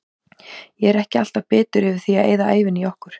Ég er ekki alltaf bitur yfir því að eyða ævinni í okkur.